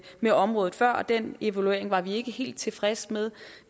med området før og den evaluering var vi ikke helt tilfredse med